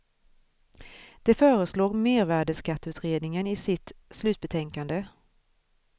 Det föreslår mervärdeskatteutredningen i sitt slutbetänkande.